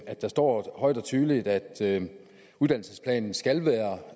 at der står højt og tydeligt at uddannelsesplanen skal være